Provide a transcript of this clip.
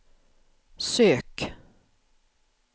sök